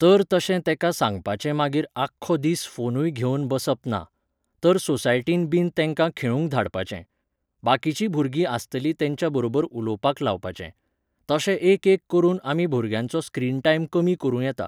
तर तशे तेंका सांगपाचें मागीर आख्खो दिस फोनूय घेवन बसप ना. तर सोसायटीन बीन तेंका खेळूंक धाडपाचें. बाकीचीं भुरगीं आसतलीं तेंच्या बरोबर उलोवपाक लावपाचे. तशें एक एक करून आमी भुरग्यांचो स्क्रीन टायम कमी करूं येता